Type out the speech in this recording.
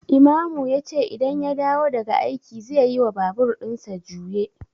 Imamu yace idan ya dawo daga aiki zeyi wa babur ɗinsa juye